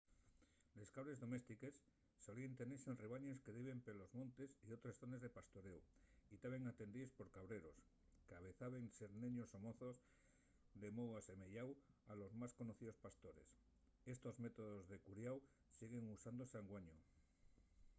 les cabres doméstiques solíen tenese en rebaños que diben pelos montes o otres zones de pastoréu y taben atendíes por cabreros qu'avezaben ser neños o mozos de mou asemeyáu a los más conocíos pastores estos métodos de curiáu siguen usándose anguaño